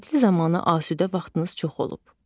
Tətil zamanı asudə vaxtınız çox olub.